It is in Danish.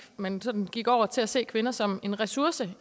at man sådan gik over til at se kvinder som en ressource